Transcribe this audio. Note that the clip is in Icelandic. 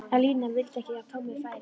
En Lína vildi ekki að Tommi færi.